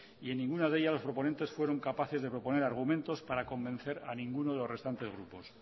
y en ninguna de ellas los proponentes fueron capaces de proponer argumentos para convencer a ninguno de los restantes grupos